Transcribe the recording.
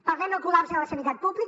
parlem del col·lapse de la sanitat pública